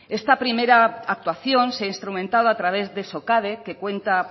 esta primera actuación se ha instrumentado a través de socade